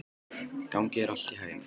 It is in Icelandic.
Gangi þér allt í haginn, Fannberg.